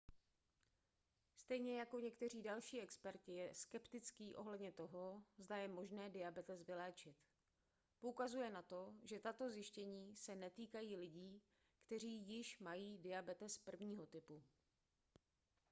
stejně jako někteří další experti je skeptický ohledně toho zda je možné diabetes vyléčit poukazuje na to že tato zjištění se netýkají lidí kteří již mají diabetes 1. typu